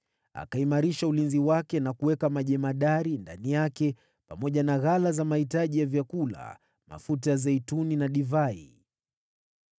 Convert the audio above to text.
Akaimarisha ulinzi wake na kuweka majemadari ndani yake, pamoja na ghala za mahitaji ya vyakula, mafuta ya zeituni na divai.